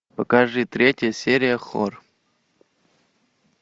покажи третья серия хор